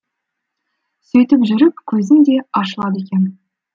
сөйтіп жүріп көзің де ашылады екен